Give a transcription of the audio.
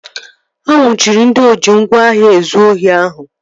A nnwuchiri ndị oji ngwá agha ezụ ohi ahụ